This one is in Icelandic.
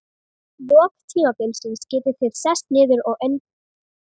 lok tímabilsins getið þið sest niður og endurskoðað listann.